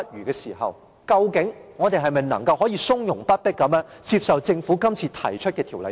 究竟我們是否能夠從容不迫地接受政府今次提出的《條例草案》？